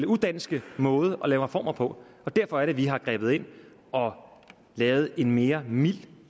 udanske måde at lave reformer på derfor er det vi har grebet ind og lavet en mere mild